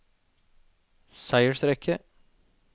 seiersrekke